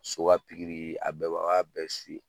So ka pikiri a bɛ an b'a bɛɛ